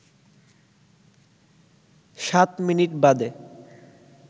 সাত মিনিট বাদে